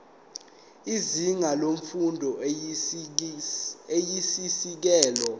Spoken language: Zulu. izinga lemfundo eyisisekelo